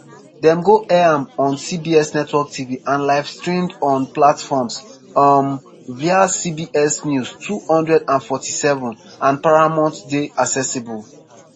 dem go air am on cbs network tv and livestreamed on platforms um wia cbs news 24/7 and paramount+ dey accessible.